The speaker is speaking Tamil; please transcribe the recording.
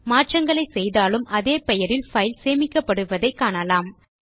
மாற்றங்களை செய்தாலும் அதே பெயரில் பைல் சேமிக்கப்படுவதை காணலாம்